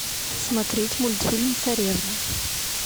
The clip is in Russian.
смотреть мультфильм царевна